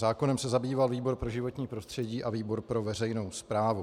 Zákonem se zabýval výbor pro životní prostředí a výbor pro veřejnou správu.